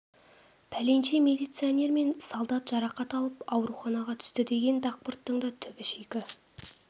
пәленше милиционер мен солдат жарақат алып ауруханаға түсті деген дақпырттың да түбі шикі